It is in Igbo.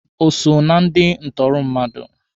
O so na ndi ntụrụ mmadụ?